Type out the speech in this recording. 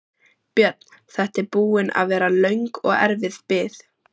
Björn: Þetta er búin að vera löng og erfið bið?